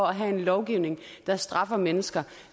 have en lovgivning der straffer mennesker